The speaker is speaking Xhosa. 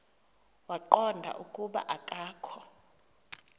waqonda ukuba akokho